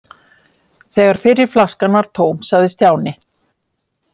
Þegar fyrri flaskan var tóm sagði Stjáni